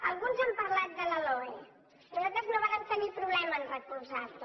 alguns han parlat de la loe nosaltres no vàrem tenir problema a recolzarla